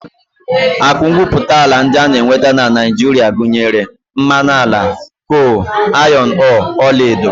Akụ ngwuputaala ndị a na-enweta na Naijiria gụnyere mmanụ ala, kol, ayọn ọọọ, ọlaedo